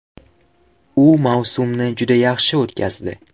U mavsumni juda yaxshi o‘tkazdi.